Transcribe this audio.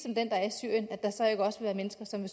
som